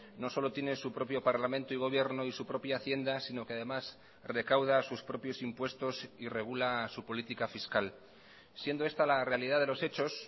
no solo tiene su propio parlamento y gobierno y su propia hacienda sino que además recauda sus propios impuestos y regula su política fiscal siendo esta la realidad de los hechos